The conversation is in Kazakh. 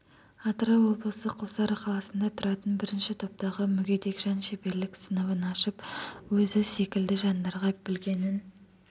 атырау облысы құлсары қаласында тұратын бірінші топтағы мүгедек жан шеберлік сыныбын ашып өзі секілді жандарға білгенін